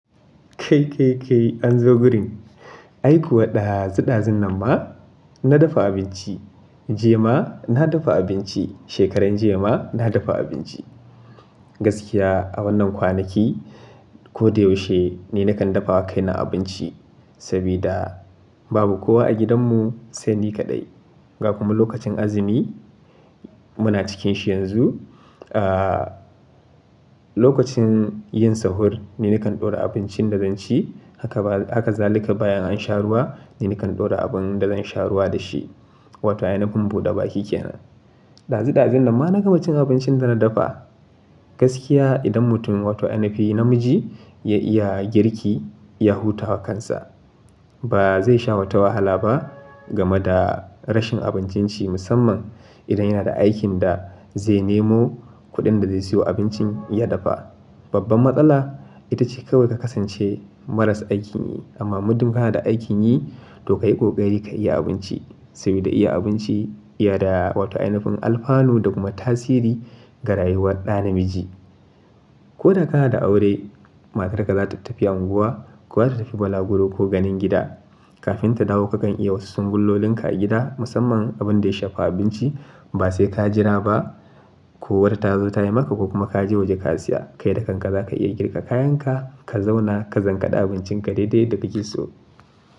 Kai, kai, kai an zo gurin. Ai kuwa ɗazu ɗazun nan ma na dafa abinci, jiya ma na dafa abinci, shekaran jiya ma na dafa abinci. Gaskiya a wannan kwanaki ko da yaushe ni nakan dafa wa kaina abinci saboda babu kowa a gidanmu sai ni kaɗai. Ga kuma lokacin azumi muna cikin shi yanzu. Ah, lokacin yin sahur ni nakan ɗora abincin da zan ci haka ba, haka zalika bayan an sha ruwa ni nakan ɗora abin da zan sha ruwa da shi wato ainihin buɗe baki ke nan. Ɗazu ɗazun nan ma na gama cin abincin da na dafa. Gaskiya idan mutum wato ana nufin namiji ya iya girki ya huta wa kansa ba zai sha wata wahala ba game da rashin abincin ci musamman idan yana da aikin da zai nemo kuɗin da zai siyo abincin ya dafa. Babban matsala ita ce kawai ka kasance maras aikin yi amma muddin kana da aikin yi to ka yi ƙoƙari ka iya abinci saboda iya abinci iya da wato ainihin alfanu da kuma tasiri ga rayuwar ɗa namiji. Ko da kana da aure matarka za ta tafi unguwa ko za ta tafi balaguro ko ganin gida. Kafin ta dawo kakan iya wasu sun bulolinka a gida musamman abin da ya shafa abinci ba sai ka jira ba ko wata ta zo ta yi maka ko kuma ka je waje ka siya. Kai da kanka za ka iya girka kayanka, ka zauna ka zankaɗa abincinka daidai yadda kake so.